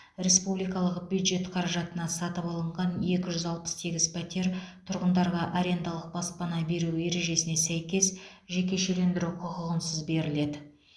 республикалық бюджет қаражатына сатып алынған екі жүз алпыс сегіз пәтер тұрғындарға арендалық баспана беру ережесіне сәйкес жекешелендіру құқығынсыз беріледі